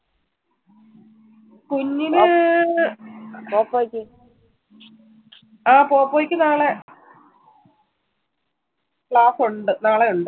കുഞ്ഞിന് ആ പോകുവായിരിക്കും നാളെ class ഉണ്ട് നാളെ ഉണ്ട്